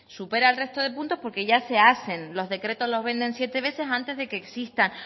supera al resto de puntos porque ya se hacen los decretos los venden siete veces antes de que existan